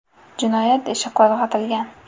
Jinoyat ishi qo‘zg‘atilgan.